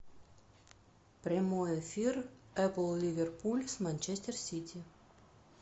прямой эфир апл ливерпуль с манчестер сити